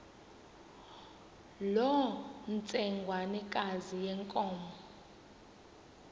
loo ntsengwanekazi yenkomo